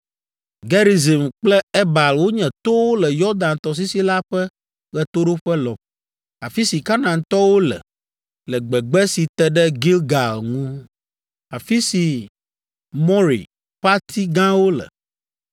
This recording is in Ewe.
Gerizim kple Ebal wonye towo le Yɔdan tɔsisi la ƒe ɣetoɖoƒe lɔƒo, afi si Kanaantɔwo le, le gbegbe si te ɖe Gilgal ŋu, afi si More ƒe ati gãwo le.